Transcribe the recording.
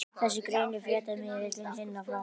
Þessu greinir fréttamiðillinn Hina frá